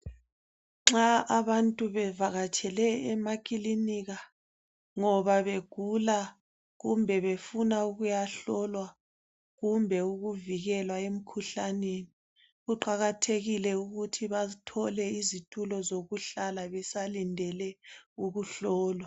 Nxa abantu bevakatshele emakilinika ngoba begula kumbe befuna ukuyahlolwa kumbe ukuvikelwa emkhuhlaneni kuqakathekile ukuthi bathole izitulo zokuhlala besalindele ukuhlolwa.